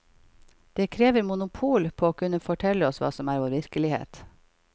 Den krever monopol på å kunne fortelle oss hva som er vår virkelighet.